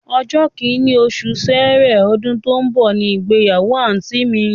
Ọjọ́ kìnní, osù sẹẹrẹ, ọdún tó ń bọ̀ ni ìgbáyàwó àǹtí mi